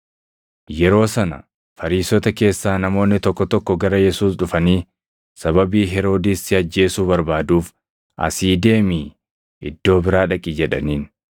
Yeroo sana Fariisota keessaa namoonni tokko tokko gara Yesuus dhufanii, “Sababii Heroodis si ajjeesuu barbaaduuf asii deemii iddoo biraa dhaqi” jedhaniin.